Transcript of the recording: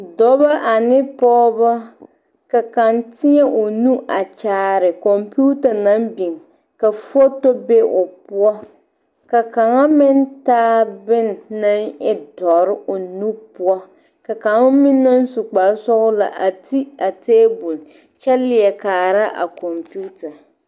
Dɔba ane pɔgeba ka kaŋ teɛŋ o nu a kyaare kɔmpeta naŋ biŋ ka foto be o poɔ ka kaŋa meŋ taa bone naŋ e dɔre o nu poɔ ka kaŋ meŋ naŋ su kparesɔglaa a ti a table kyɛ leɛ kaara a kɔmpeta.